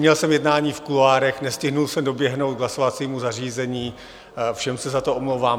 Měl jsem jednání v kuloárech, nestihl jsem doběhnout k hlasovacímu zařízení, všem se za to omlouvám.